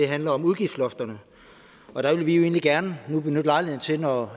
handler om udgiftslofterne og der vil vi jo egentlig gerne benytte lejligheden til når